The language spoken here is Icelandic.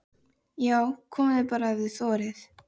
JÁ, KOMIÐI BARA EF ÞIÐ ÞORIÐ!